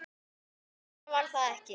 . fleira var það ekki.